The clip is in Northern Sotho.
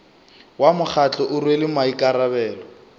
wa mokgatlo o rwele maikarabelo